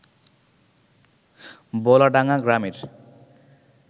বলাডাঙ্গা গ্রামের